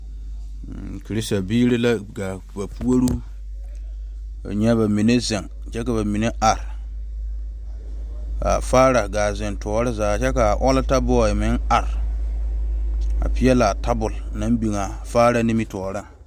Kerista biiri la ga ba pouri kaa nya bamine zeŋ kyɛ ka bamine are kaa faare gaa te zeŋ tɔɔre zaa kyɛ kaa ɔɔta boe meŋ are a pegle tabol a faare nimitɔɔre.